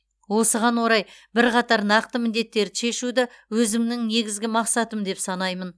осыған орай бірқатар нақты міндеттерді шешуді өзімнің негізгі мақсатым деп санаймын